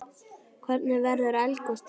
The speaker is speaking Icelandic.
Hvernig verður eldgos til?